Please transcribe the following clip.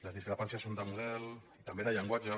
les discrepàncies són de model i també de llenguatge